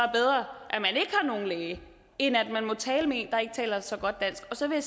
er nogen læge end at man må tale med en der ikke taler så godt dansk så vil